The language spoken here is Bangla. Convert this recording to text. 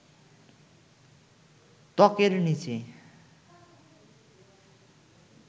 ত্বকের নিচে